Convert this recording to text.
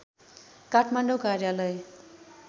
काठमाडौँ कार्यालय